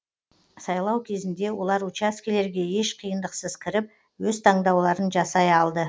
сайлау кезінде олар учаскелерге еш қиындықсыз кіріп өз таңдауларын жасай алды